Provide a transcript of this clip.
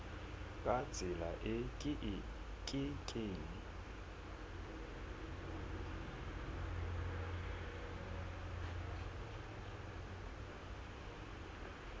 ka tsela e ke keng